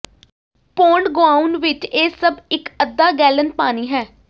pound ਗੁਆਉਣ ਵਿਚ ਇਹ ਸਭ ਇਕ ਅੱਧਾ ਗੈਲਨ ਪਾਣੀ ਹੈ